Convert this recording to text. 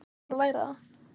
Þá er bara að læra það!